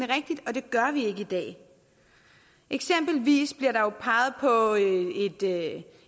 rigtigt og det gør vi ikke i dag eksempelvis bliver der jo peget på